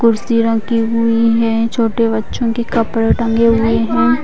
कुर्शी रखी हुई है छोटे बच्चो के कपड़े टंगे हुए है ।